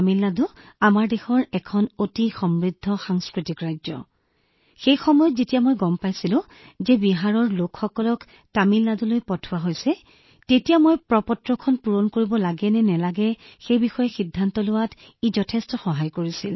তামিলনাডু আমাৰ দেশৰ এখন অতি সমৃদ্ধ সাংস্কৃতিক ৰাজ্য সেয়েহে যেতিয়া মই গম পালো আৰু দেখিলো যে বিহাৰৰ লোকসকলক তামিলনাডুলৈ পঠোৱা হৈছে ই মোক এই সিদ্ধান্ত লোৱাত যথেষ্ট সহায় কৰিছিল যে মই প্ৰপত্ৰখন পূৰণ কৰিব লাগে নে নালাগে আৰু তালৈ যাব লাগে নে নালাগে